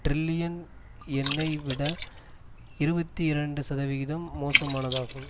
trillion யென்னை விட இருபத்தி இரண்டு சதவீதம் மோசமானதாகும்